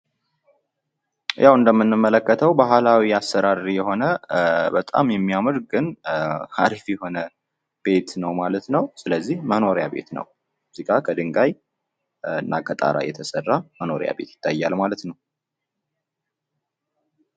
ያው እንደምንመለከተው ባህላዊ አሰራር የሆነ በጣም የሚያምር ግን ሀሪፍ የሆነ ቤት ነው ማለት ነው። ስለዚህ መኖሪያ ቤት ነው። እዚጋ ከድንጋይ እና ከጣራ የተሰራ መኖሪያ ቤት ይታያል ማለት ነው።